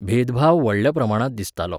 भेदभाव व्हडल्या प्रमाणांत दिसतालो.